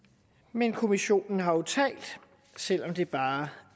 men kommissionen har jo talt selv om det bare